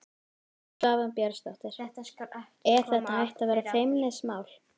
Svava Björnsdóttir: Er þetta hætt að vera feimnismál?